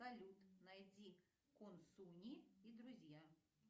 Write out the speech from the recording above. салют найди консуни и друзья